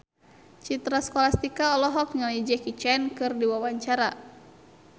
Citra Scholastika olohok ningali Jackie Chan keur diwawancara